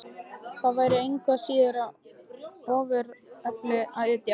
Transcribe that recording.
Það væri engu að síður við ofurefli að etja.